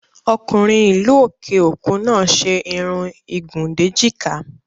Ọkùnrin ìlú òkè òkun náà ṣe Irun ìgùn déjìká